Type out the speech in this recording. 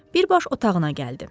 Birbaş otağına gəldi.